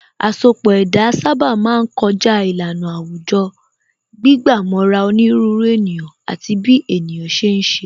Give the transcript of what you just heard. Asọpọ̀ ẹ̀dá sábà máa ń kọjá ìlànà àwùjọ, gbígbà mọ́ra onírúurú ènìyàn àti bí ènìyàn ṣe ń ṣe